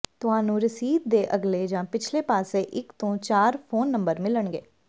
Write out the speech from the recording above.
ਤੁਹਾਨੂੰ ਰਸੀਦ ਦੇ ਅਗਲੇ ਜਾਂ ਪਿਛਲੇ ਪਾਸੇ ਇਕ ਤੋਂ ਚਾਰ ਫੋਨ ਨੰਬਰ ਮਿਲਣਗੇ